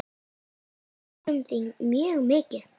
Við söknum þín mjög mikið.